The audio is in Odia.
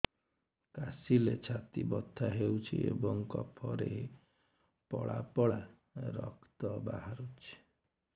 କାଶିଲେ ଛାତି ବଥା ହେଉଛି ଏବଂ କଫରେ ପଳା ପଳା ରକ୍ତ ବାହାରୁଚି